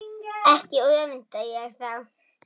Ekki öfunda ég þá